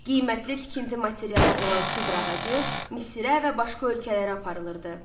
Qiymətli tikinti materialı olan sidr ağacı Misirə və başqa ölkələrə aparılırdı.